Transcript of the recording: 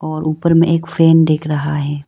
और ऊपर में एक फैन दिख रहा है।